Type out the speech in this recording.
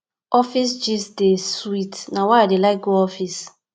office gist dey sweet na why i dey like go office